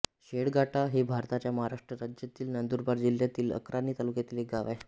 शेळगाडा हे भारताच्या महाराष्ट्र राज्यातील नंदुरबार जिल्ह्यातील अक्राणी तालुक्यातील एक गाव आहे